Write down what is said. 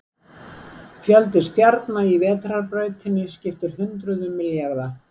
Fjöldi stjarna í Vetrarbrautinni skiptir hundruðum milljarða.